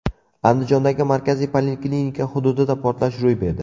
Andijondagi markaziy poliklinika hududida portlash ro‘y berdi.